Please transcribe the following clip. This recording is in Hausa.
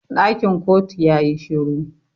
Dakin kotu ya yi shiru.